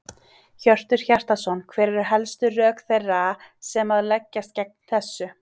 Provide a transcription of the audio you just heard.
Hjörtur Hjartarson: Hver eru helstu rök þeirra sem að leggjast gegn þessu?